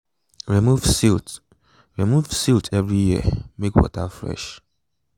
remove silt remove silt every year make water fresh